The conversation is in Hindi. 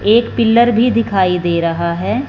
एक पिलर भी दिखाई दे रहा है।